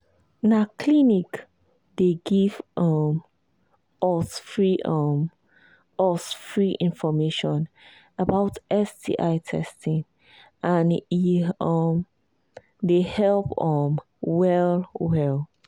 na clinic they give um us free um us free information about sti testing and he um they help um well well